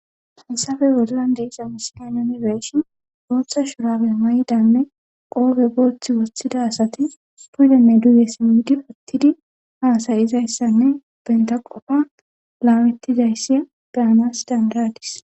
Hassafe wodilan de isamiskanonibeeshin gooththa shurabe may"i danne qoofe gooththi woththida asati puudenne duuye simmidi ottidi haasayizayssanne benta qofa laamettizayssi beyanas dandadis